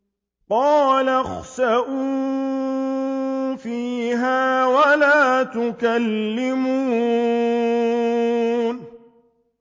قَالَ اخْسَئُوا فِيهَا وَلَا تُكَلِّمُونِ